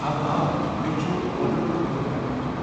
اوہ، آ، مےٚ چُھ اونم خٲطرٕ گھرٕ گژھُن ۔